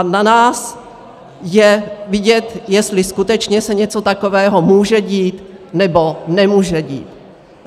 A na nás je vidět, jestli skutečně se něco takového může dít, nebo nemůže dít.